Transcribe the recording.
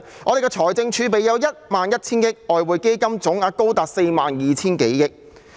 我們有1萬 1,000 億元的財政儲備，外匯基金總額高達4萬 2,000 多億元。